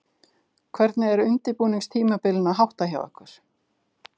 Hvernig er undirbúningstímabilinu háttað hjá ykkur?